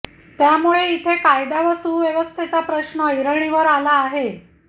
त्यामुळे इथे कायदा व सुव्यवस्थेचा प्रश्न ऐरणीवर आला आहे